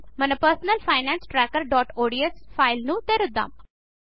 మనము మన personal finance trackerఒడిఎస్ ఫైల్ తెరుద్దం